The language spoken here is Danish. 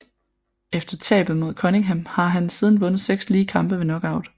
Efter tabet mod Cunningham har han siden vundet seks lige kampe ved Knockout